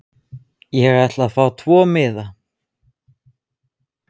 Ég sé þig ekki.